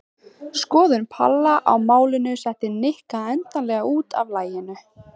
Skoðun Palla á málinu setti Nikka endanlega út af laginu.